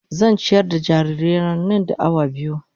Zan ciyar da jarirai na, nan da awa biyu.